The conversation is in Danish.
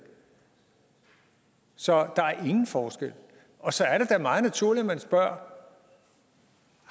så der er ingen forskel og så er det da meget naturligt at vi spørger